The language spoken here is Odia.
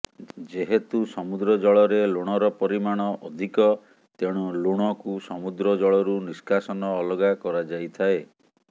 ଯେହେତୁ ସମୁଦ୍ର ଜଳରେ ଲୁଣର ପରିମାଣ ଅଧିକ ତେଣୁ ଲୁଣକୁ ସମୁଦ୍ର ଜଳରୁ ନିଷ୍କାସନ ଅଲଗା କରାଯାଇଥାଏ